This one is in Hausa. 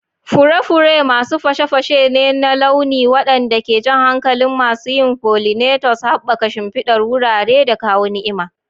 Fure-fure masu fashe-fashe ne na launi waɗanda ke jan hankalin masu yin pollinators, haɓaka shimfidar wurare, da kawo ni'ima.